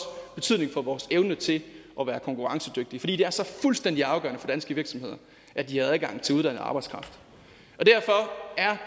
betydning for vores evne til at være konkurrencedygtige fordi det er så fuldstændig afgørende for danske virksomheder at de har adgang til uddannet arbejdskraft